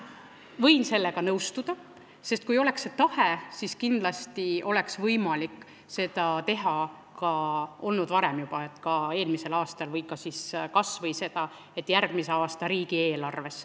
Ma võin sellega nõustuda, sest kui oleks olnud tahe, siis oleks kindlasti olnud võimalik seda teha ka juba varem, eelmisel aastal, või seda oleks võinud tõsta järgmise aasta riigieelarves.